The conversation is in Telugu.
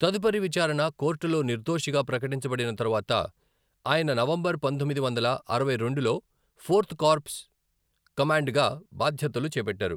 తదుపరి విచారణ కోర్టులో నిర్దోషిగా ప్రకటించబడిన తరువాత, ఆయన నవంబర్ పంతొమ్మిది వందల అరవై రెండులో ఫోర్త్ కార్ప్స్ కమాండ్గా బాధ్యతలు చేపట్టారు.